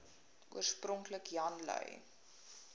oorspronklik jan lui